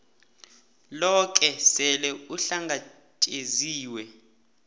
loke sele uhlangatjeziwe